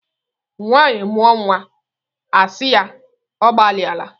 Nwaanyị mụọ nwa a asị ya "ọ gbalịa la".